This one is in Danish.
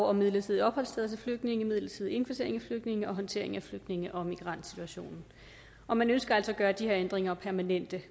om midlertidige opholdssteder til flygtninge midlertidig indkvartering af flygtninge og håndtering af flygtninge og migrantsituationen og man ønsker altså at gøre de her ændringer permanente